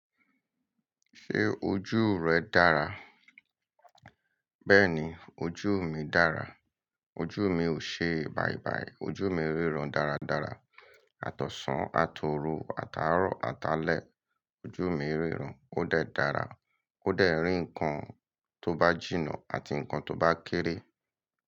Ṣé ojú rẹ̀ dára? Bẹ́ẹ̀ni, ojú mi dára. Ojú mi ò ṣe bàìbàì, ojú mi ríran dáradára. Àtọ̀sàn, àtòru, àtàárọ̀, àtàlẹ̀, ojú mi ríran. Ó dẹ̀ dára, ó dẹ̀ rí nǹkan tó bá jìnnà àti nǹkan tó bá kéré.